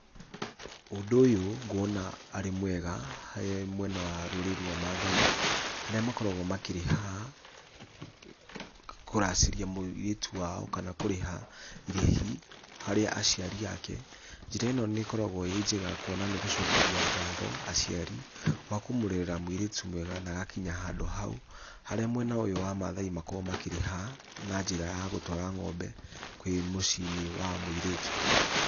Ũndũ ũyũ ngwona arĩ mwega harĩ mwena wa rũrĩrĩ rwa maathai, harĩa makoragwo makĩrĩha , kũracĩria mũirĩtu wao kana kũrĩha irĩhi harĩ aciari ake, njĩra ĩno nĩ ĩkoragwo ĩ njega kuona nĩ gũcokeria ngatho aciari , kwa kũmũrerera mũirĩtu na agakinya handũ hau, harĩa mwena ũyũ wa maathai makoragwo makĩrĩha na njĩra ya gũtwara ngombe kwĩ mũciĩ-inĩ wa mũirĩtu.